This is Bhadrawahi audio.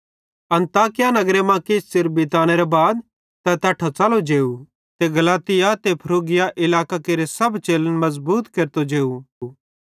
अन्ताकिया नगरे मां किछ च़िर बितनेरे बाद तै तैट्ठां च़लो जेव ते गलातिया ते फ्रूगिया इलाकां केरे सब चेलन मज़बूत केरतो जेव